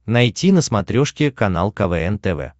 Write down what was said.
найти на смотрешке канал квн тв